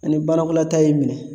Ani barakolata y'i minɛ